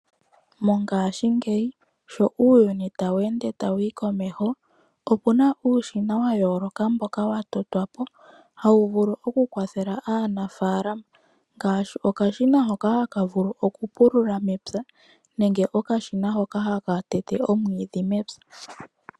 Mongashingeyi sho uuyuni tawu ende tawu yi komeho, opuna uushina wa yooloka mboka wa totwapo, hawu vulu oku kwathela aanafalama ngashi okashina hoka haka vulu oku pulula mepya nenge okashina hoka haka tete omwidhi mepya.